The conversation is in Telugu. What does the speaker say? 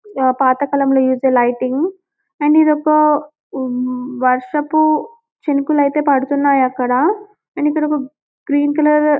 పాతకాలంలో యూస్ చేసే లైటింగ్ అండ్ ఇదొక వర్షపు చినుకులు అయితే పడుతున్న అండ్అక్కడ గ్రీన్ కలర్ --